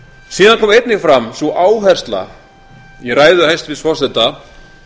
síðan kom einnig fram sú áhersla í ræðu hæstvirts forseta